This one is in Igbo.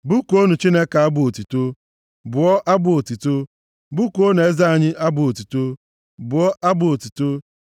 Bụkuonụ Chineke abụ otuto, bụọ abụ otuto; bụkuonụ eze anyị abụ otuto, bụọ abụ otuto. + 47:6 Ngwa egwu eji mpi anụmanụ mee, a na-akpọ Shọfa, ka eji abụ abụ. Ọ bụkwa ya ka a eji akpọsa afọ ọhụrụ nye ndị mmadụ.